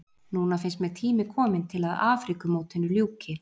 Núna finnst mér tími kominn til að Afríkumótinu ljúki.